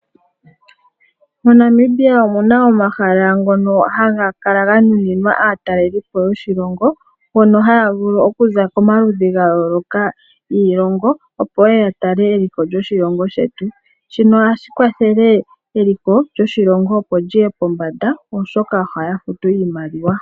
MoNamibia omu na omahala ngono haga kala ga nuninwa aatalelipo yoshilongo hono haya vulu okuza komaludhi ga yooloka giilongo, opo ye ye ya tale eliko lyoshilongo shetu. Shino ohashi kwathele eliko lyoshilongo opo li ye pombanda, oshoka ohaya futu iimaliwa.